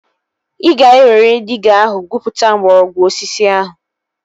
Ị ga-ewere diiga ahụ gwupụta mgbọrọgwụ osisi ahụ